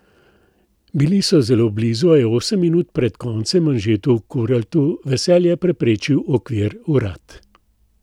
Bili so zelo blizu, a je osem minut pred koncem Anžetu Kuraltu veselje preprečil okvir vrat.